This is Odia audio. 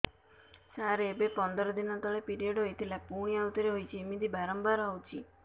ସାର ଏବେ ପନ୍ଦର ଦିନ ତଳେ ପିରିଅଡ଼ ହୋଇଥିଲା ପୁଣି ଆଉଥରେ ହୋଇଛି ଏମିତି ବାରମ୍ବାର ହଉଛି